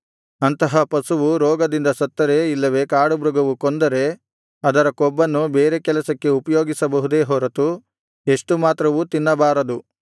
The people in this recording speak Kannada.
ಅಂತಹ ಪಶುವು ರೋಗದಿಂದ ಸತ್ತರೆ ಇಲ್ಲವೇ ಕಾಡುಮೃಗವು ಕೊಂದರೆ ಅದರ ಕೊಬ್ಬನ್ನು ಬೇರೆ ಕೆಲಸಕ್ಕೆ ಉಪಯೋಗಿಸಬಹುದೇ ಹೊರತು ಎಷ್ಟು ಮಾತ್ರವೂ ತಿನ್ನಬಾರದು